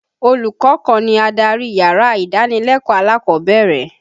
Olùkọ́ kan ni adarí yàrá ìdánilẹ́kọ̀ọ́ alákọ̀ọ́bẹ̀rẹ̀.